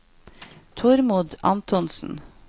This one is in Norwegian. Tormod Antonsen